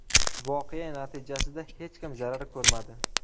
Voqea natijasida hech kim zarar ko‘rmadi.